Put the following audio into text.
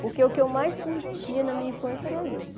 Porque o que eu mais curtia na minha infância era isso.